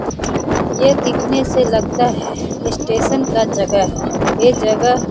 ये दिखने से लगता है स्टेशन का जगह है। ये जगह --